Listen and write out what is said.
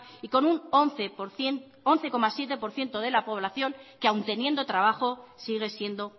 y con un once coma siete por ciento de la población que aun teniendo trabajo sigue siendo